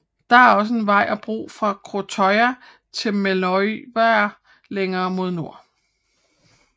Det er også en vej og bro fra Krøttøya til Meløyvær længere mod nord